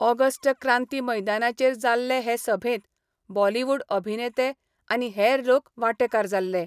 August क्रांती मैदानाचेर जाल्ले हे सभेत बॉलीवुड अभिनेते आनी हेर लोक वाटेकार जाल्ले.